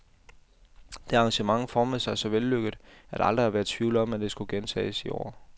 Det arrangement formede sig så vellykket, at der aldrig har været tvivl om, det skulle gentages i år.